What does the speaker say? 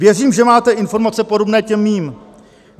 Věřím, že máte informace podobné těm mým.